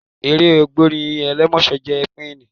Eré ògbórí ẹlẹ́mọ̀ṣọ́ jẹ́ ẹ́píkì.